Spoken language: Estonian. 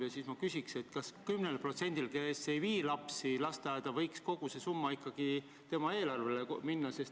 Ja veel ma küsin, kas selle 10% puhul, kes ei vii lapsi lasteaeda, võiks see summa ikkagi nende kontole minna.